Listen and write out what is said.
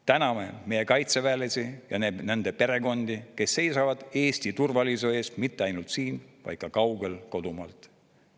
Täname meie kaitseväelasi ja nende perekondi, kes seisavad Eesti turvalisuse eest mitte ainult siin, vaid ka kaugel kodumaalt.